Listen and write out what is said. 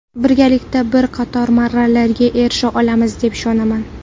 Birgalikda bir qator marralarga erisha olamiz deb ishonaman.